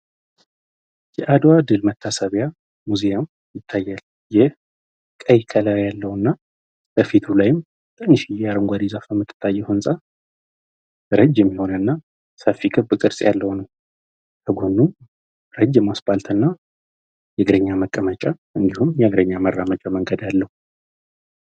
የአደዋ ድል መታሰቢያ ሙዚየም ይታያል። ይህ ቀይ ከለር ያለው እና በፊቱ ላይም ትንሽዬ አረንጓዴ ዛፍ በምትታየው ህንፃ ረጅም የሆነ እና ሰፊ ክብ ቅርፅ ያለው ነዉ። በጎኑም ረጅም አስፓልት እና የእግረኛ መመቀመጫ እንዲሁም የእግረኛ መራመጃ መንገድ አለው።